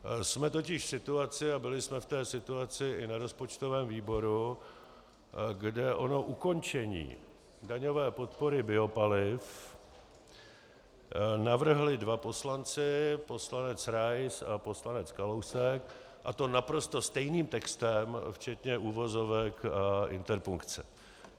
Jsme totiž v situaci, a byli jsme v té situaci i na rozpočtovém výboru, kde ono ukončení daňové podpory biopaliv navrhli dva poslanci, poslanec Rais a poslanec Kalousek, a to naprosto stejným textem včetně uvozovek a interpunkce.